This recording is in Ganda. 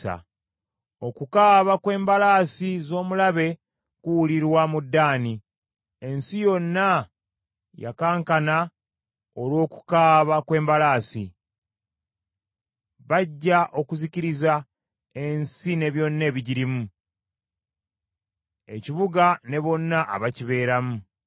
Okukaaba kw’embalaasi z’omulabe kuwulirwa mu Ddaani; ensi yonna yakankana olw’okukaaba kw’embalaasi. Bajja okuzikiriza ensi ne byonna ebigirimu, ekibuga ne bonna abakibeeramu.